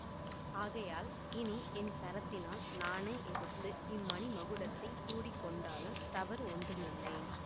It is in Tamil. ஆகையால் இனி என் கரத்தினால் நானே எடுத்து இம்மணி மகுடத்தைச் சூடிக் கொண்டாலும் தவறு ஒன்றுமில்லை